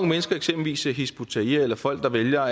mennesker eksempelvis hizb ut tahrir eller folk der vælger